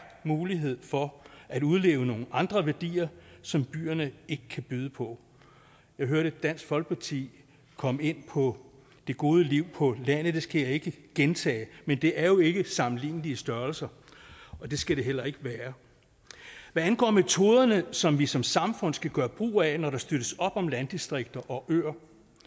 mulighed for at udleve nogle andre værdier som byerne ikke kan byde på jeg hørte dansk folkeparti komme ind på det gode liv på landet det skal jeg ikke gentage men det er jo ikke sammenlignelige størrelser og det skal det heller ikke være hvad angår metoderne som vi som samfund skal gøre brug af når der støttes op om landdistrikter og øer